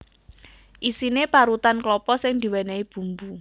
Isiné parutan klapa sing diwènèhi bumbu